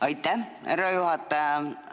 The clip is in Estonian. Aitäh, härra juhataja!